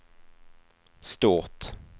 stort